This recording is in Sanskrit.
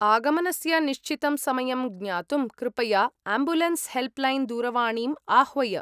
आगमनस्य निश्चितं समयं ज्ञातुं कृपया आम्बुलेन्स् हेल्प्लैन् दूरवाणीम् आह्वय।